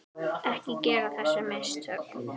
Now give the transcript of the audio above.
Ekki gera þessi mistök.